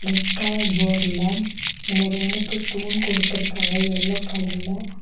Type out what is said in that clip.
Red colour போர்டுலெ அந்த ரெண்டுக்கு தூண் குடுத்திருக்காங்க எல்லோ கலர்ல .